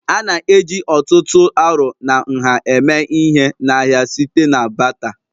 A na-eji ọ̀tụ̀tụ̀ arọ na nha eme ihe n'ahịa site na batter